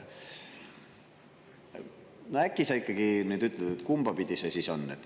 Äkki sa ikkagi ütled, kumba pidi see siis on?